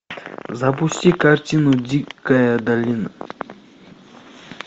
запусти картину дикая долина